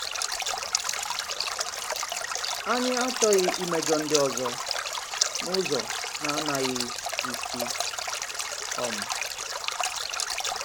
Ànyị achọghị imejọ ndị ọzọ n’ụzọ na-anàghị isi. um.